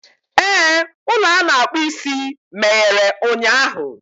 Ee, ụlọ a na-akpụ isi meghere ụnyahụ.